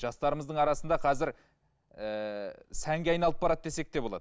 жастарымыздың арасында қазір ыыы сәнге айналып барады десек те болады